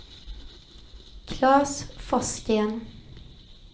Klas Forsgren